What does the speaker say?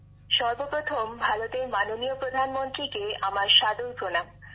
বিশাখাজীঃ সর্বপ্রথম ভারতের মাননীয় প্রধানমন্ত্রীকে আমার সাদর প্রণাম